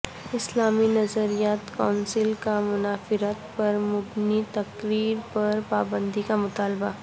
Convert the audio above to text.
اسلامی نظریاتی کونسل کا منافرت پر مبنی تقاریر پر پابندی کا مطالبہ